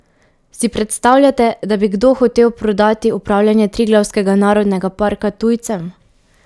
Si predstavljate, da bi kdo hotel prodati upravljanje Triglavskega narodnega parka tujcem?